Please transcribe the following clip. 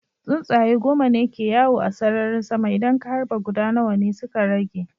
Tsuntsaye goma ne ke yawo a sararin sama, idan ka harba guda nawa ne suka rage?